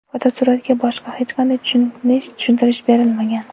fotosuratga boshqa hech qanday tushuntirish berilmagan.